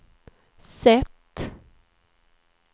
sätt